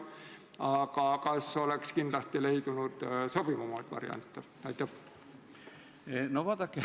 Aga kas oleks leidunud sobivamaid variante?